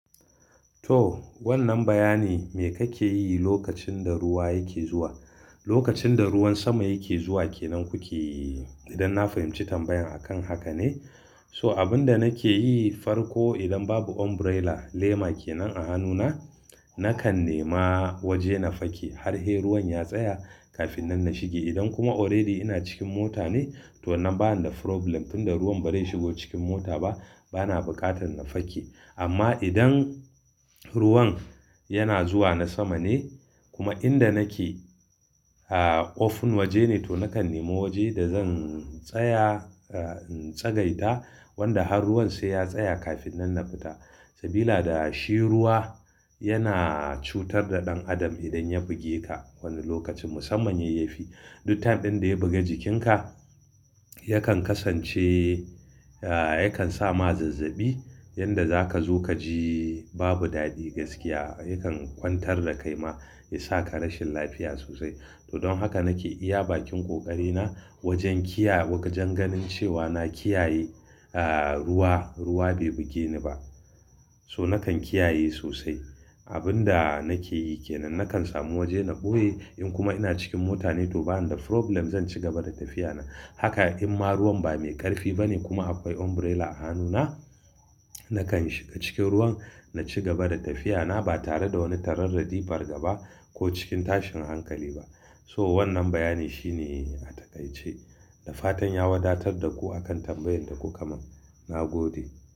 To wannan bayani me kake yi lokacin da ruwa yake zuwa? Lokacin da ruwan sama yake zuwa kenan kuke, idan na fahimci tambayan akan haka ne. So abin da nake yi farko idan babu umbrella lema kenan a hannuna, nakan nema waje na fake har he ruwan ya tsaya kafin nan na shige. Idan kuma already ina cikin mota ne to wannan bana da problem, tunda ruwan ba zai shigo cikin mota ba bana buƙatar na fake. Amma idan ruwan yana zuwa na sama ne kuma inda nake ah open waje ne to nakan nema waje da zan tsaya ah in tsagaita wanda har ruwan sai ya tsaya kafin nan na fita. Sabila da shi ruwa yana cutar da ɗan adam idan ya buge ka wani lokacin musamman yayi fi. Duk time ɗin da ya buga jikinka yakan kasance ah yakan sa ma zazzabi yanda zaka zo kaji babu daɗi gaskiya. Yakan kwantar da kai ma ya saka rashin lafiya sosai. To don haka nake iya bakin ƙoƙari na wajen kiya wajen ganin cewa na kiyaye ah ruwa, ruwa be buge ni ba. So nakan kiyaye sosai. Abin da nake yi kenan nakan samu waje na ɓoye in kuma ina cikin mota ne to bana da problem zan ci gaba da tafiya na. Haka im ma ruwan ba mai ƙarfi bane kuma akwai umbrella a hannuna nakan shiga cikin ruwan na ci gaba da tafiya na ba tare da wani tararradi farga ba ko cikin tashin hankali ba. So wannan bayani shine a takaice. Da fatan ya wadatar da ku akan tambayan da kuka mana. Na gode.